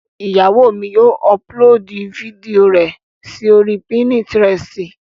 Ìyàwó mi yóò ọpulóòdù fídíò rẹ sí oríi pínítiresì